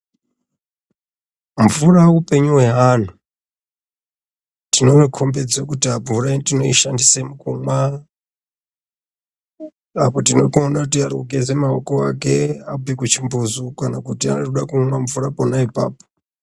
Mvura upenyu hweantu, tinokombedze kuti mvura tinoishandise mukumwa, apo tinoona kuti arikugeze maoko ake abve kuchimbuzu kana kuti arikude kumwe mvura pona ipapo.